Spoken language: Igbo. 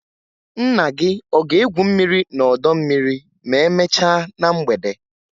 Nna gị ọ ga-egwu mmiri n'ọdọ mmiri ma emechaa na mgbede?